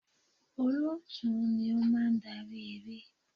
Olóòtú ni ó máa ń darí eré.